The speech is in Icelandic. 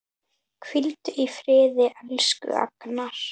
Hvíldu í friði, elsku Agnar.